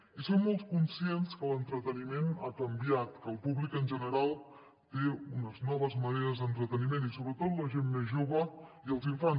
i som molt conscients que l’entreteniment ha canviat que el públic en general té unes noves maneres d’entreteniment i sobretot la gent més jove i els infants